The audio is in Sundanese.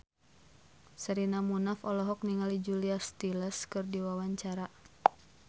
Sherina Munaf olohok ningali Julia Stiles keur diwawancara